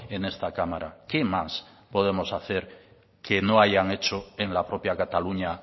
en esta cámara qué más podemos hacer que no hayan hecho en la propia cataluña